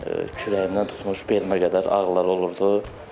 Kürəyimdən tutmuş, belimə qədər ağrılar olurdu.